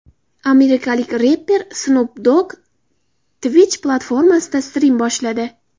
Amerikalik reper Snoop Dogg Twitch platformasida strim boshladi.